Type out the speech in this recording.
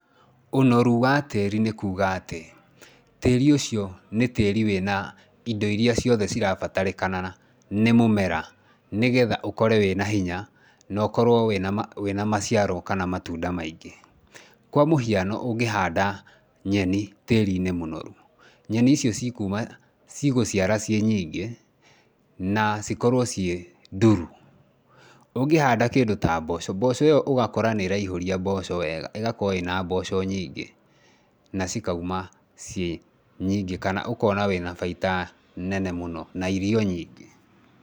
Ũnoru wa tĩĩri nĩ kuuga atĩ, tĩĩri ũcio nĩ tĩĩri wĩna indo iria ciothe cirabatarĩkana nĩ mũmera, nĩgetha ũkore wĩna hinya na ũkorwo wĩna na maciaro wĩna na maciaro kana matunda maingĩ. Kwa mũhiano ũngĩhanda nyeni tĩĩri-inĩ mũnoru, nyeni icio cikuuma, cigũciara ciĩ nyingĩ na cikorwo ciĩ nduru. Ũngihanda kĩndũ ta mboco, mboco ĩyo ũgakora nĩ ĩraihũria mboco wega, ĩgakorwo ĩna mboco nyingĩ na cikauma ciĩ nyingi kana ũkona wĩna baita nene mũno na irio nyingĩ.